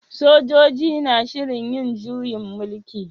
Sojoji na shirin yin juyin mulki?